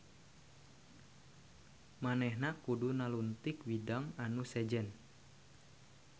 Manehna kudu naluntik widang anu sejen.